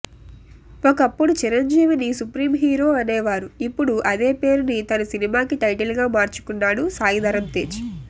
ఒకప్పుడు చిరంజీవిని supreme hero అనేవారు ఇప్పుడు అదే పేరుని తన సినిమాకి టైటిల్ గా మార్చుకున్నాడు సాయిధరమ్ తేజ్